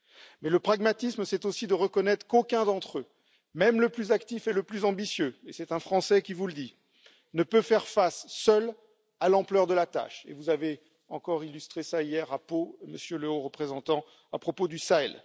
Mais le pragmatisme, c'est aussi de reconnaître qu'aucun d'entre eux, même le plus actif et le plus ambitieux et c'est un Français qui vous le dit ne peut faire face seul à l'ampleur de la tâche et vous avez encore illustré cela hier à Pau, Monsieur le Haut représentant, à propos du Sahel.